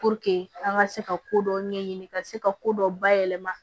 an ka se ka ko dɔ ɲɛɲini ka se ka ko dɔ bayɛlɛma